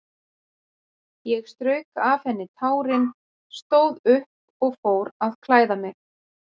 Ég strauk af henni tárin, stóð upp og fór að klæða mig.